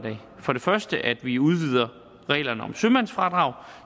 for det første at vi udvider reglerne om sømandsfradrag